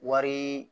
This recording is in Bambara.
Wari